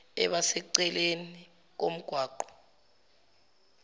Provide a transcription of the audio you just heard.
eba seceleni komgwaqo